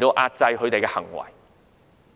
壓制自己的行為。